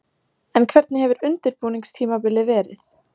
En hvernig hefur undirbúningstímabilið verið?